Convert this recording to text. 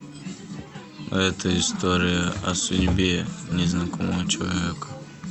эта история о судьбе незнакомого человека